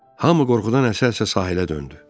Hamı qorxudan əsə-əsə sahilə döndü.